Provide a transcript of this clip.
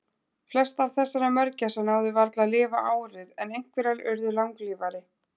Flestar þessara mörgæsa náðu varla að lifa árið en einhverjar urðu langlífari.